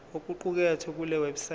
okuqukethwe kule website